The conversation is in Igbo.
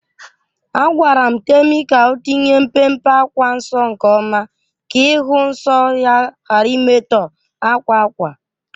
Agwara m Temi ka o tinye mpe mpe akwa nsọ nke oma ka ịhụ nsọ ya ghara imetọ akwa ákwà